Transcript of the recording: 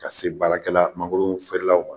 Ka se baarakɛla mangoro feerelaw ma.